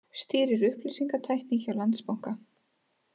Stýrir upplýsingatækni hjá Landsbanka